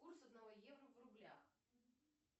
курс одного евро в рублях